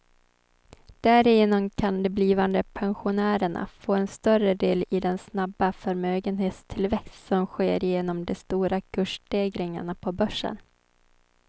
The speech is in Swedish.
Därigenom kan de blivande pensionärerna få en större del i den snabba förmögenhetstillväxt som sker genom de stora kursstegringarna på börsen.